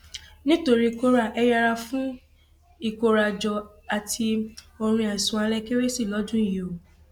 nítorí kóra ẹ yẹra fún ìkórajọ àti orin àìsùn alẹ kérésì lọdún yìí o